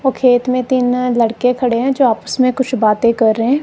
खेत में तीन लड़के खड़े हैं जो आपस में कुछ बातें कर रहे हैं।